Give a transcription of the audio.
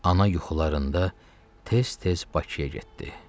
Ana yuxularında tez-tez Bakıya getdi.